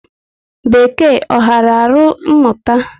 Bekee ọ ghara alụ mụta?